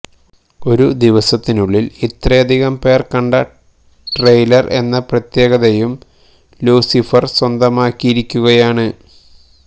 ഒരു ദിവസത്തിനുള്ളില് ഇത്രയധികം പേര് കണ്ട ട്രെയിലര് എന്ന പ്രത്യേകതയും ലൂസിഫര് സ്വന്തമാക്കിയിരിക്കുകയാണ്